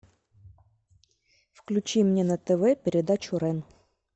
включи мне на тв передачу рен